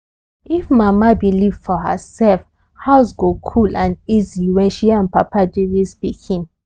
if mama believe for herself house go cool and easy when she and papa dey raise pikin